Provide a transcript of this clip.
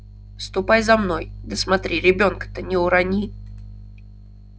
ступай за мной да смотри ребёнка-то не урони